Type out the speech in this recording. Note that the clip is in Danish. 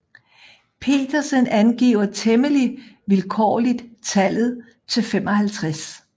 Petersen angiver temmelig vilkårligt tallet til 55